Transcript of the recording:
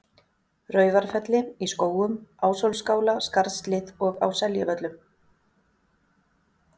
Raufarfelli, í Skógum, Ásólfsskála, Skarðshlíð og á Seljavöllum.